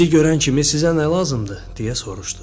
Bizi görən kimi sizə nə lazımdır, deyə soruşdu.